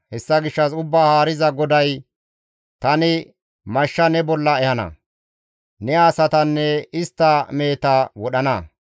Hessa gishshas Ubbaa Haariza GODAY tani mashsha ne bolla ehana; ne asatanne istta meheta wodhana.